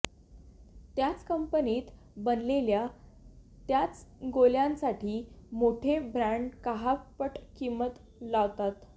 त्याच कंपनीत बनलेल्या त्याच गोळ्यांसाठी मोठे ब्रँड काह पट किंमत लावतात